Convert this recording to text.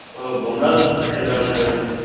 ও বোমরাও তো খেলতে পারবেনা এবারে